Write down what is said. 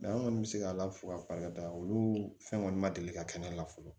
an kɔni bɛ se ka ala fo k'a barika da olu fɛn kɔni ma deli ka kɛ ne la fɔlɔ